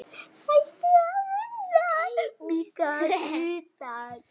Stækki að innan.